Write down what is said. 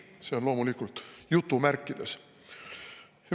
See on loomulikult jutumärkides "õigusriik".